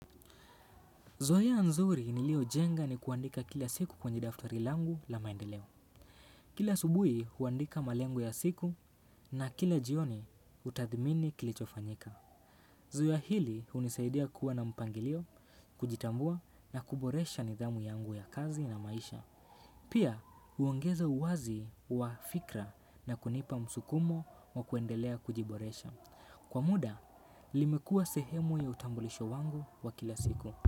Zoeya nzuri nilio jenga ni kuandika kila siku kwenye daftari langu la maendeleo. Kila asubuhi huandika malengo ya siku na kila jioni utathimini kilichofanyika. Zoeya hili unisaidia kuwa na mpangilio, kujitambua na kuboresha nidhamu yangu ya kazi na maisha. Pia uongeza uwazi wa fikra na kunipa msukumo wa kuendelea kujiboresha. Kwa muda, limekua sehemu ya utambulisho wangu wa kila siku.